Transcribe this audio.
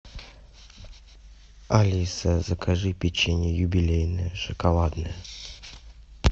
алиса закажи печенье юбилейное шоколадное